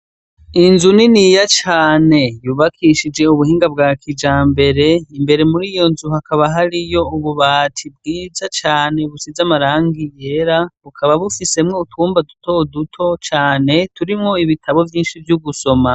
Inzu niniya cane yubakishije ubuhinga bwa kijambere, imbere muri iyo nzu hakaba hariyo ububati bwiza cane busize amarangi yera, bukaba bufisemwo utwumba duto duto cane, turimwo ibitabo vyinshi vyo gusoma.